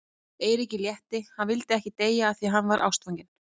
Eiríki létti, hann vildi ekki deyja af því að hann var ástfanginn.